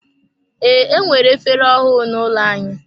Ee, enwere efere ọhụụ n'ụlọ anyị.